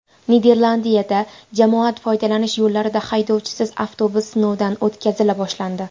Niderlandiyada jamoat foydalanish yo‘llarida haydovchisiz avtobus sinovdan o‘tkazila boshlandi.